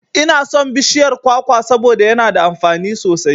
Inason bishiyar kwakwa saboda yana da amfani sosai